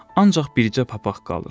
Ancaq bircə papaq qalır.